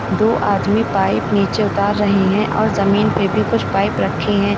दो आदमी पाइप नीचे उतार रहे हैं और जमीन पे भी कुछ पाइप रखे हैं।